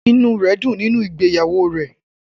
Inú rẹ̀ dùn nínú ìgbéyàwó rẹ̀